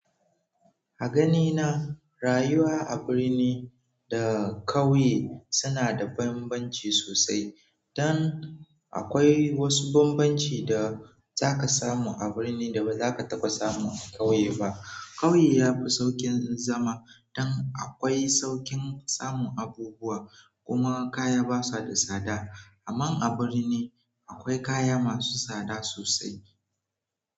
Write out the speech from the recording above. A ganina, rayuwa a birni da ƙauye suna da bambanci sosai. Dan akwai wasu bambanci da zaka samu a birni da ba za ka taba samu a ƙauye ba. Ƙauye yafi saukin zama dan akwai saukin samun abubuwa. Kuma kaya basu da tsada. Amma a birni akwai kaya masu tsada sosai.